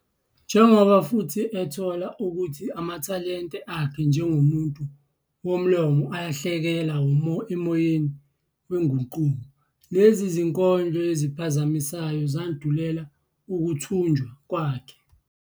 Njengoba futhi ethola ukuthi amathalente akhe njengomuntu womlomo alahleka emoyeni wenguquko, lezi zinkondlo eziphazamisayo zandulela ukuthunjwa kwakhe.